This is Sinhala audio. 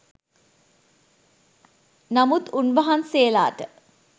නමුත් උන්වහන්සේලාට